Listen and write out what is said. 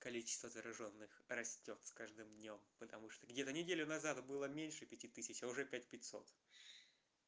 количество заражённых растёт с каждым днём потому что где-то неделю назад было меньше пяти тысяч а уже пять пятьсот